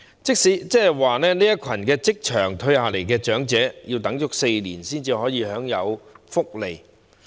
即是說，這群從職場退下來的長者，要等待4年才可以享受福利。